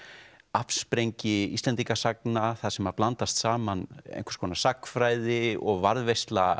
afsprengi Íslendingasagna þar sem blandast saman einhvers konar sagnfræði og varðveisla